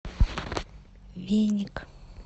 веник